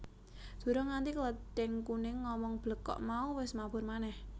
Durung nganti Klething Kuning ngomong blekok mau wis mabur manèh